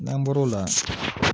N'an bɔr'o la